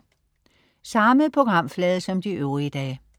Samme programflade som de øvrige dage